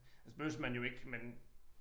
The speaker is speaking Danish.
Altså behøves man jo ikke men